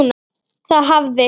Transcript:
Það hafði